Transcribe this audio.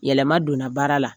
Yɛlɛma donna baara la,